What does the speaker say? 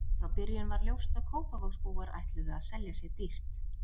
Frá byrjun var ljóst að Kópavogsbúar ætluðu að selja sig dýrt.